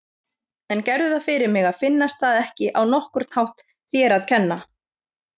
En gerðu það fyrir mig að finnast það ekki á nokkurn hátt þér að kenna.